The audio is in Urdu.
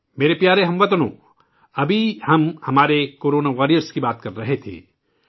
میرے پیارے ہم وطنوں ، ابھی ہم اپنے 'کورونا واریئر' کا ذکر کر رہے تھے